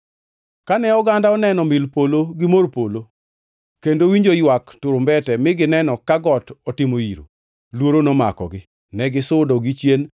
Kane oganda oneno mil polo gi mor polo kendo owinjo ywak turumbete mi gineno ka got otimo iro, luoro nomakogi. Negisudo gichien